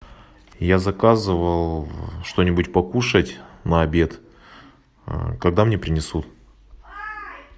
я заказывал что нибудь покушать на обед когда мне принесут